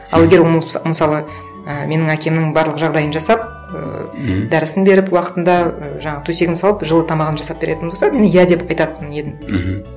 ал егер ол мысалы і менің әкемнің барлық жағдайын жасап ыыы мхм дәрісін беріп уақытында ы жаңағы төсегін салып жылы тамағын жасап беретін болса мен иә деп айтатын едім мхм